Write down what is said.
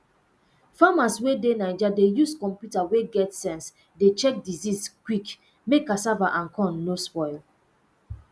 farmers wey dey naija dey use computer wey get sense dey check disease quick mek cassava and corn no spoil